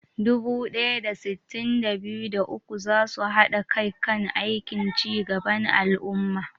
Dubu ɗaya da sittin da biyu, da uku za su haɗa kai kan aikin ci gaban al'umma.